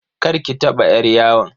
Karki taba yar yawon.